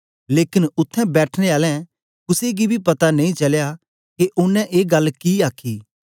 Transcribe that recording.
लेकन उत्थें बैठनें आलें कुसे गी बी पता नेई चलया के ओनें ए गल्ल कि आखी